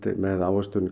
með ávöxtun